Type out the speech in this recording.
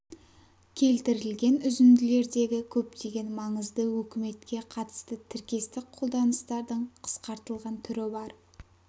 келтірілген үзінділердегі көптеген маңызды өкіметке қатысты тіркестік қолданыстардың қысқартылған түрі бар